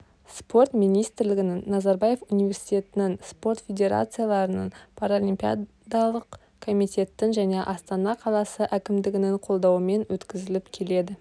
спорт министрлігінің назарбаев университетінің спорт федерацияларының паралимпиадалық комитеттің және астана қаласы әкімдігінің қолдауымен өткізіліп келеді